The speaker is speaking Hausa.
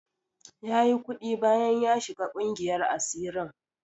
Yayi kuɗi bayan ya shiga ƙungiyar asirin.